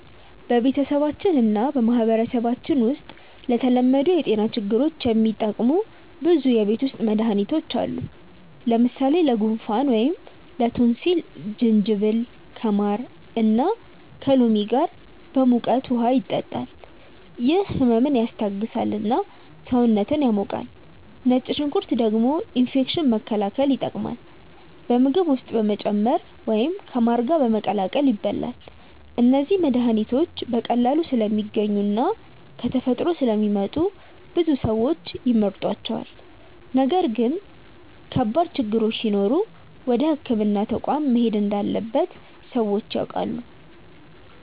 በቤተሰባችን እና በማህበረሰባችን ውስጥ ለተለመዱ የጤና ችግሮች የሚጠቀሙ ብዙ የቤት ውስጥ መድሃኒቶች አሉ። ለምሳሌ ለጉንፋን ወይም ላቶንሲል ጅንጅብል ከማር እና ከሎሚ ጋር በሙቀት ውሃ ይጠጣል፤ ይህ ህመምን ያስታግሳል እና ሰውነትን ያሞቃል። ነጭ ሽንኩርት ደግሞ ኢንፌክሽን መከላከል ይጠቀማል፣ በምግብ ውስጥ በመጨመር ወይም ከማር ጋር በመቀላቀል ይበላል። እነዚህ መድሃኒቶች በቀላሉ ስለሚገኙ እና ከተፈጥሮ ስለሚመጡ ብዙ ሰዎች ይመርጧቸዋል። ነገር ግን ከባድ ችግሮች ሲኖሩ ወደ ሕክምና ተቋም መሄድ እንዳለበት ሰዎች ያውቃሉ።